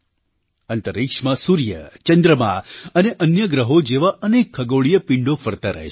અંતરિક્ષમાં સૂર્ય ચંદ્રમા અને અન્ય ગ્રહો જેવા અનેક ખગોળીય પિંડો ફરતા રહે છે